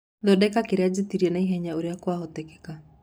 thondeka kĩrĩa njĩtĩrĩe naĩhenya ũria kwahoteka